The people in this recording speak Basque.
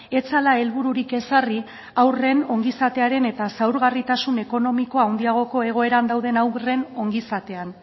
ez zela helbururik ezarri haurren ongizatearen eta zaurgarritasun ekonomikoa handiagoko egoeran dauden haurren ongizatean